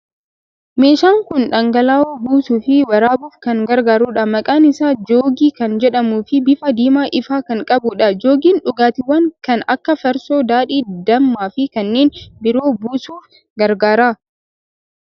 Meeshaan kun dhangala'oo buusuu fi waraabuuf kan gargaarudha. Maqaan isaa joogii kan jedhamuu fi bifa diimaa ifaa kan qabudha. Joogiin dhugaatiiwwan kan akka farsoo, daadhii, dammaa fi kanneen biroo buusuuf gargaara.